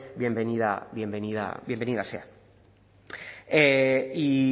bienvenida sea y